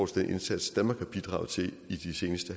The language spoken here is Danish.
til den indsats danmark har bidraget til i det seneste